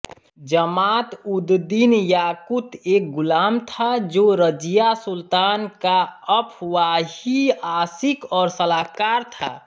जमातउददिनयाकुत एक ग़ुलाम था जो रज़िया सुल्तान का अफ़वाही आशिक़ और सलाहकार था